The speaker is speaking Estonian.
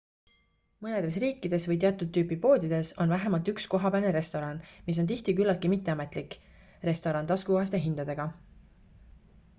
mõnedes riikides või teatud tüüpi poodides on vähemalt üks kohapealne restoran mis on tihti küllaltki mitteametlik restoran taskukohaste hindadega